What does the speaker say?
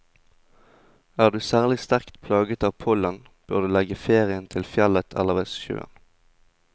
Er du særlig sterkt plaget av pollen, bør du legge ferien til fjellet eller ved sjøen.